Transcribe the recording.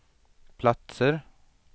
platser